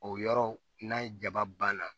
O yɔrɔ n'a ye jaba banna